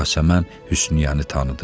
Yasəmən Hüsniyəni tanıdı.